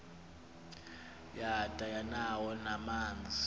yada yanawo namanzi